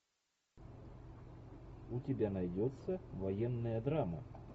у тебя найдется военная драма